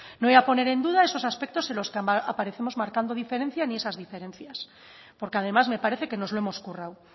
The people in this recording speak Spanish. no voy a poner en duda esos aspectos en los que aparecemos marcando diferencia ni esas diferencias porque además me parece que nos lo hemos currado